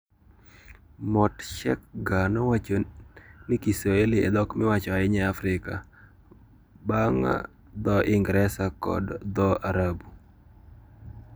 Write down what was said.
Motshekga nowacho ni Kiswahili e dhok miwacho ahinya e Afrika, bang ' dho - Ingresa kod dho - Arabu.